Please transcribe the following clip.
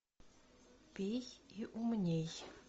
пей и умней